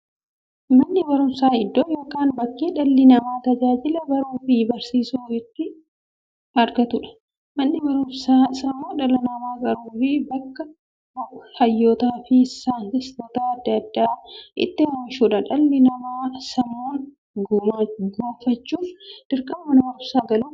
Manni baruumsaa iddoo yookiin bakkee dhalli namaa tajaajila baruufi barsiisuu itti argatuudha. Manni baruumsaa sammuu dhala namaa qaruufi bakka hayyootafi saayintistoota adda addaa itti oomishuudha. Dhalli namaa sammuun gufachuuf, dirqama Mana baruumsaa galuu qaba.